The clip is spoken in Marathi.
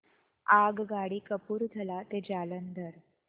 आगगाडी कपूरथला ते जालंधर